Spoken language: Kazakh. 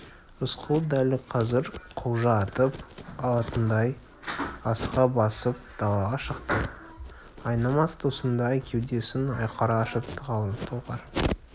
рысқұл дәл қазір құлжа атып алатындай асыға басып далаға шықты айнымас досындай кеудесін айқара ашып талғар